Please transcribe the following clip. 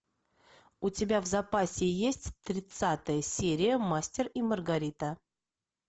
у тебя в запасе есть тридцатая серия мастер и маргарита